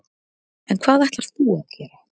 En hvað ætlar þú að gera?